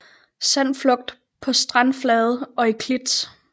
Sandflugt på strandflade og i klit